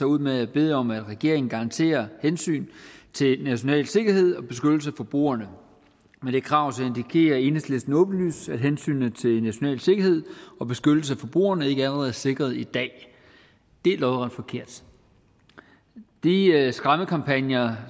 ud med at bede om at regeringen garanterer hensynet til national sikkerhed og beskyttelse af forbrugerne med det krav indikerer enhedslisten åbenlyst at hensynet til national sikkerhed og beskyttelse af forbrugerne ikke allerede er sikret i dag det er lodret forkert de skræmmekampagner